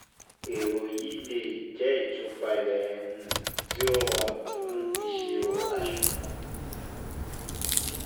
Èrò yìí le jẹ́ jẹ́ ìtúpalẹ̀ um tí ó rọrùn um fún ìṣirò àṣùwọ̀n